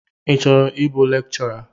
Ị chọrọ ịbụ lekchọra?